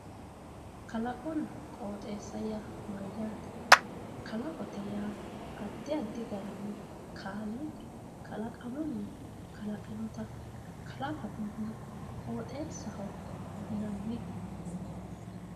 kalaqonna qooxeessa yaa mayyaate kalaqote yaa addi addi gatinni kaaliiqi kalaqamunni kalaqinota kalaqotenna qooxeessaho yinanni.